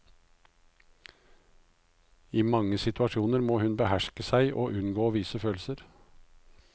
I mange situasjoner må hun beherske seg og unngå å vise følelser.